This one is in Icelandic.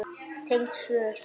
Tengd svör